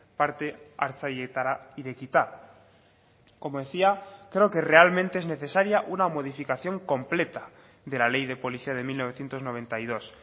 parte hartzaileetara irekita como decía creo que realmente es necesaria una modificación completa de la ley de policía de mil novecientos noventa y dos